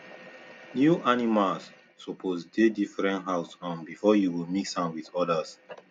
new animal suppose dey different house um before you go mix am with others